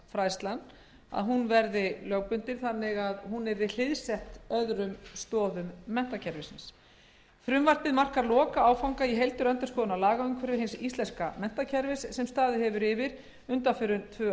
framhaldsfræðsla sem yrði hliðsett öðrum stoðum þess frumvarpið markar lokaáfanga í heildarendurskoðun á lagaumhverfi hins íslenska menntakerfis sem staðið hefur yfir undanfarin tvö ár með það að